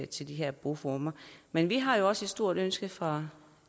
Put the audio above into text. til de her boformer men vi har jo også et stort ønske fra